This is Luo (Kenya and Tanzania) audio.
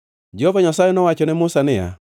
Jehova Nyasaye nowacho ne Musa niya,